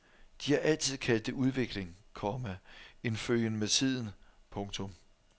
De har altid kaldt det udvikling, komma en følgen med tiden. punktum